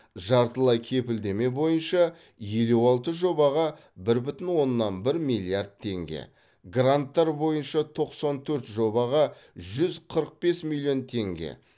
жартылай кепілдеме бойынша елу алты жобаға бір бүтін оннан бір миллиард теңге гранттар бойынша тоқсан төрт жобаға жүз қырық бес миллион теңге